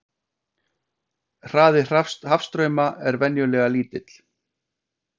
Hraði hafstrauma er venjulega lítill.